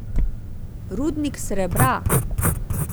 Rudnik srebra!